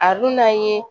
A dun n'an ye